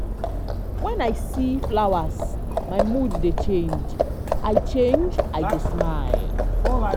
wen i see flowers my mood dey change i change i dey smile.